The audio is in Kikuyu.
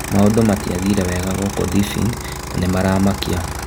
Maũndũ matiathiire wega gũkũ Thibĩin, na nĩ maramakia.